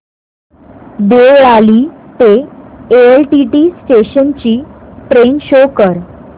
देवळाली ते LTT station ची train show कर